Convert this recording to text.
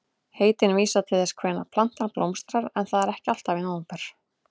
Heitin vísa til þess hvenær plantan blómstrar en það er ekki alltaf í nóvember.